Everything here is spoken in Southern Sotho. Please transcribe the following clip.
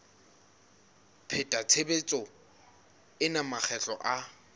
pheta tshebetso ena makgetlo a